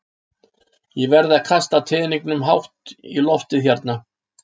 Ég verð að kasta teningnum hátt í loftið hérna.